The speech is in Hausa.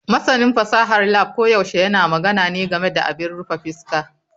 Masanin fasahar lab koyaushe yana magana ne game da abin rufe fuska.